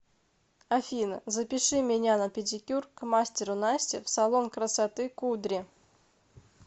афина запиши меня на педикюр к мастеру насте в салон красоты кудри